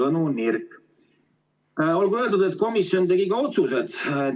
Et mul meelest ei läheks, olgu öeldud, et komisjon tegi ka otsused.